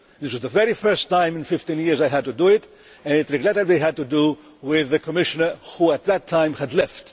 This was the very first time in 15 years I had had to do it, and it regrettably had to do with the Commissioner, who at that time had left.